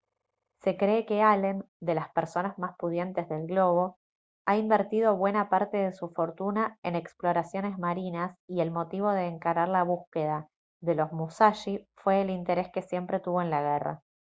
se cree que allen de las personas más pudientes del globo ha invertido buena parte de su fortuna en exploraciones marinas y el motivo de encarar la búsqueda de los musashi fue el interés que siempre tuvo en la guerra